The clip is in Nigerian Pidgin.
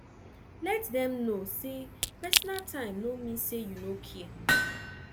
let dem no say personal time no mean say you no care